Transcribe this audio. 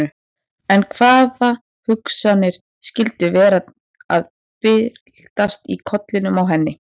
En hvaða hugsanir skyldu vera að byltast í kollinum á henni?